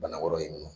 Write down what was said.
Bana wɛrɛ ye nɔ